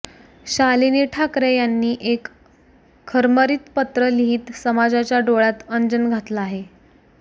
शालिनी ठाकरे यांनी एक खरमरीत पत्र लिहित समाजाच्या डोळ्यात अंजन घातलं आहे